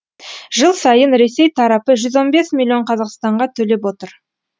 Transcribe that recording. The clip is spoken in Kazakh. жыл сайын ресей тарапы жүз он бес миллион қазақстанға төлеп отыр